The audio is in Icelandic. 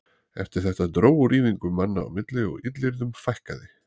Eftir þetta dró úr ýfingum manna á milli og illyrðum fækkaði.